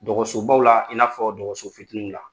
Dɔgɔsobaw la i n'a fɔ dɔgɔso fitininw la.